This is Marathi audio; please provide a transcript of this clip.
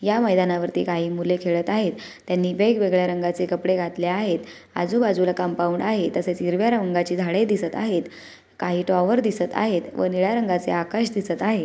या मैदानावरती काही मुले खेळत आहेत त्यांनी वेगवेगळ्या रंगाचे कपडे घातले आहेत आजूबाजूला कंपाउंड आहे तसेच हिरव्या रंगाचे झाडे दिसत आहेत काही टॉवर दिसत आहेत व निळ्या रंगाचे आकाश दिसत आहे.